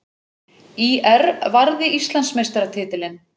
ÍR varði Íslandsmeistaratitilinn